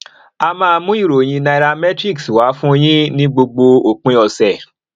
a máa mú ìròyìn nairametrics wá fún yín ní gbogbo òpin ọsẹ